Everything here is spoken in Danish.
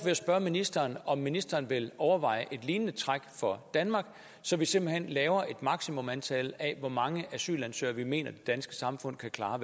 jeg spørge ministeren om ministeren vil overveje et lignende træk for danmark så vi simpelt hen laver et maksimumantal hvor mange asylansøgere vi mener det danske samfund kan klare